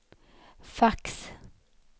fax